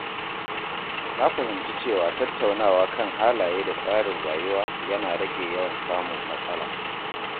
Na fahimci cewa tattaunawa kan halaye da tsarin rayuwa yana rage yawan samun matsala.